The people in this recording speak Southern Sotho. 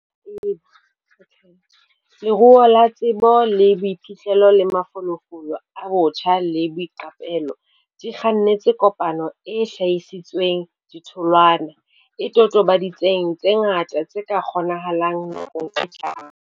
Leruo la tsebo le boiphihlelo le mafolofolo a botjha le boiqapelo, di kgannetse kopanong e hlahisitseng ditholwana, e totobaditseng tse ngata tse ka kgonahalang nakong e tlang.